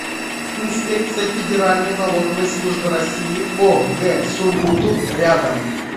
инспекция федеральной налоговой службы россии по г сургуту рядом